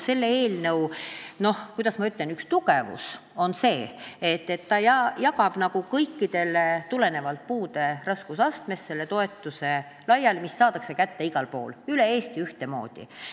Selle eelnõu üks tugevusi on see, et ta jagab selle toetuse laiali tulenevalt puude raskusastmest ja seda toetust saadakse kätte üle Eesti ühtemoodi.